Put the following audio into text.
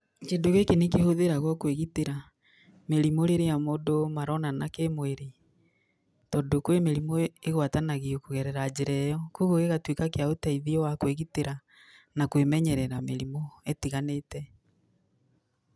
Kĩndũ gĩkĩ nĩ kĩhũthĩragwo kwĩgitĩra mĩrimũ rĩrĩa mũndũ maronana kĩmwĩrĩ, tondũ kwĩ mĩrimũ ĩgwatanagio kũgerera njĩra ĩyo, kũguo gĩgatũika kĩa ũteithio wa kwĩgitĩra na kwĩmenyerera mĩrimũ ĩtiganĩte.